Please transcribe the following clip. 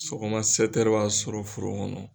Sɔgɔma b'an sɔrɔ foro kɔnɔ.